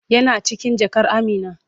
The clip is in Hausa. Yana cikin jakar Amina.